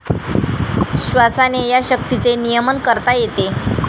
श्वासाने या शक्तीचे नियमन करता येते.